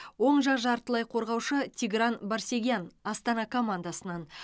оң жақ жартылай қорғаушы тигран барсегян астана командасынан